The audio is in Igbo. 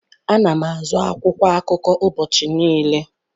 Ana m azụ akwụkwọ akụkọ ụbọchị niile.